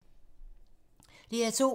DR2